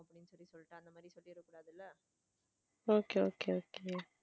Okay okay okay